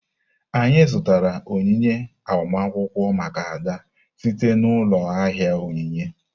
Anyị zụtara onyinye agbamakwụkwọ maka Ada site n'ụlọ ahịa onyinye.